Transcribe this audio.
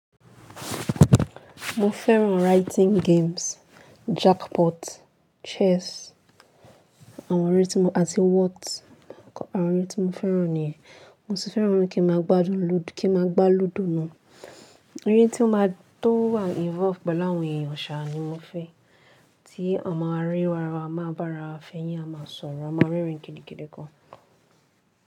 Mo fẹ́ràn writing games, jackpot, chess àwọn ère tí mo àti what àwọn ère tí mo fẹ́ràn nìyẹn. Mo sì fẹ́ràn kí ma gbá lúdò náà. Ère tí ó má a tó wà involve pẹ̀lú àwọn èèyàn ṣà ni mo fẹ́. Tí àma ri ara wa máa bá ra fẹ̀yín, a máa sọ̀rọ̀, a máa rẹ́rìn kídìkídì gan.